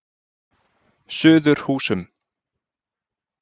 Suðurhúsum